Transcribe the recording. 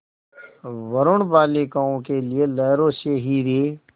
वरूण बालिकाओं के लिए लहरों से हीरे